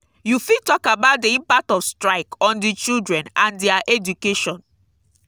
you fit talk about di impact of strike on di children and dia education.